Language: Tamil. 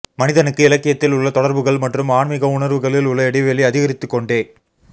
மனிதனுக்கு இலக்கியத்தில் உள்ள தொடர்புகள் மற்றும் ஆன்மிக உணர்வுகளில் உள்ள இடைவெளி அதிகரித்துக் கொண்டே